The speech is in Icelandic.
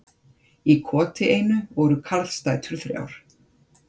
Í koti einu voru karlsdætur þrjár.